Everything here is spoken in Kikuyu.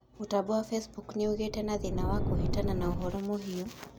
mutambo wa Facebook ni ugiite na thĩna wa kuhitana na ũhoro muhiu